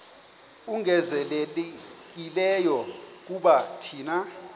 ongezelelekileyo kuba thina